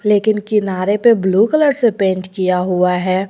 लेकिन किनारे पे ब्लू कलर से पेंट किया हुआ है।